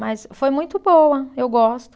Mas foi muito boa, eu gosto.